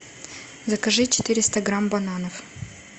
закажи четыреста грамм бананов